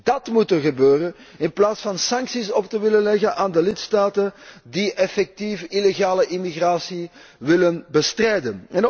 Dat moet er gebeuren, in plaats van sancties te willen opleggen aan de lidstaten die effectief illegale immigratie willen bestrijden.